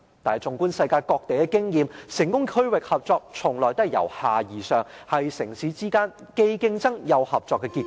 但是，縱觀世界各地的經驗，成功的區域性合作，從來都是由下而上，是城市之間既競爭又合作的結果。